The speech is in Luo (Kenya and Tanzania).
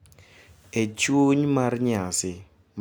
E chuny mar nyasi mar nyuol,